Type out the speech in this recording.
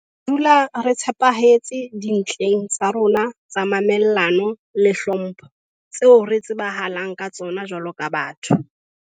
Re tla dula re tshepahetse dintleng tsa rona tsa mamellano le hlompho tseo re tsebahalang ka tsona jwaloka batho.